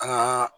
Ka